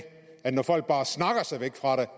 når folk bare snakker sig væk fra